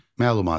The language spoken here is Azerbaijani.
Məlumat.